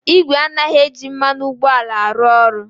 Igwe anaghị eji mmanụ ụgbọala arụ ọrụ.